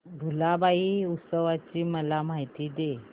भुलाबाई उत्सवाची मला माहिती दे